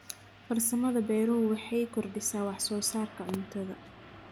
Farsamada beeruhu waxay kordhisaa wax soo saarka cuntada.